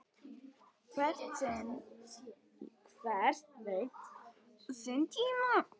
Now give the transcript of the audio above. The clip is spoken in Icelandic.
Hver veit sinn tíma?